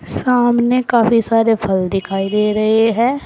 सामने काफी सारे फल दिखाई दे रहे हैं।